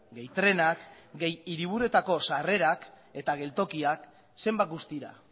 gehi trenak gehi hiriburuetako sarrerak eta geltokiak zenbat guztira